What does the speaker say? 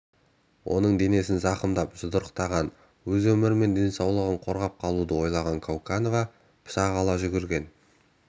оның денесін зақымдап жұдырықтаған өз өмірі мен денсаулығын қорғап қалуды ойлаған кауканова пышақ ала жүгірген